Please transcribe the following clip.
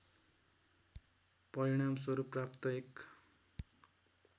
परिणामस्वरूप प्राप्त एक